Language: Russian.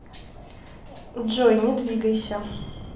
джой не двигайся